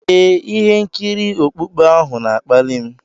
Ee, ihe nkiri okpukpe ahụ na-akpali m.